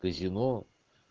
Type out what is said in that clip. казино